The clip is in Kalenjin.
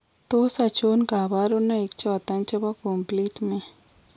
Tos achon kabarunaik choton chebo Complement ?